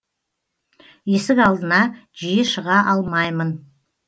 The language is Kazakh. есік алдына жиі шыға алмаймын